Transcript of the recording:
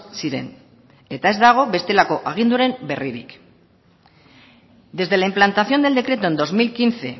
ziren eta ez dago bestelako aginduren berririk desde la implantación del decreto en dos mil quince